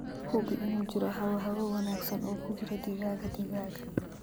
Hubi inuu jiro hawo hawo wanaagsan oo ku jira digaaga digaaga.